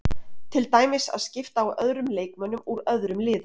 Til dæmis að skipta á öðrum leikmönnum úr öðrum liðum.